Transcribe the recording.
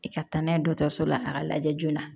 I ka taa n'a ye dɔgɔtɔrɔso la a ka lajɛ joona